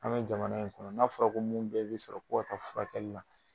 An bɛ jamana in kɔnɔ n'a fɔra ko minnu bɛɛ bɛ sɔrɔ k'o ka taa furakɛli la